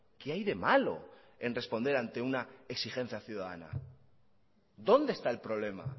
qué hay de malo en responder ante una exigencia ciudadana dónde está el problema